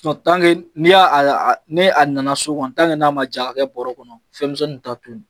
ni a nana so kɔni n'a ma ja ka kɛ bɔrɛ kɔnɔ fɛnmisɛnninw t'a tto ye